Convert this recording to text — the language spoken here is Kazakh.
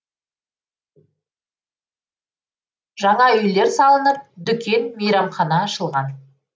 жаңа үйлер салынып дүкен мейрамхана ашылған